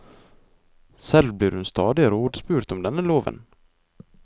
Selv blir hun stadig rådspurt om denne loven.